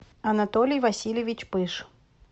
анатолий васильевич пыж